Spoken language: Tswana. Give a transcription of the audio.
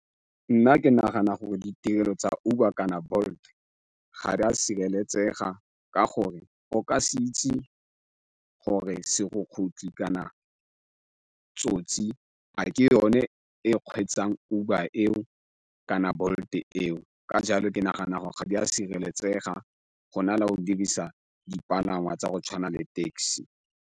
Nna ke nagana gore ditirelo tsa Uber kana Bolt ga di a sireletsega ka gore o ka se itse gore serukutlhi kana tsosi a ke yone e kgweetsang Uber eo kana Bolt-e eo ka jalo ke nagana gore ga di a sireletsega go na le o dirisa dipalangwa tsa go tshwana le taxi.